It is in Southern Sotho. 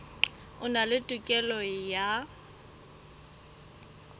a na le tokelo ya